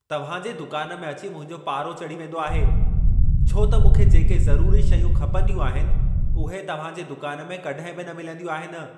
तव्हांजे दुकान में अची मुंहिंजो पारो चढ़ी वेंदो आहे, छो त मूंखे जेके ज़रूरी शयूं खपंदियूं आहिनि, उहे तव्हां जे दुकान में कॾहिं बि न मिलंदियूं आहिनि।